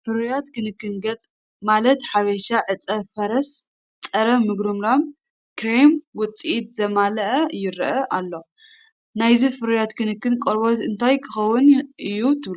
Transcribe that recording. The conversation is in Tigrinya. ፍርያት ክንክን ገጽ፤ ማለት ሓበሻ ዕጸ-ፋርስ ጸረ-ምጉርምራም ክሬም ውጽኢት ዘማልአ ይረአ ኣሎ፡፡ ናይዚ ፍርያት ክንክን ቆርበት እንታይ ክኸውን እዩ ትብሉ?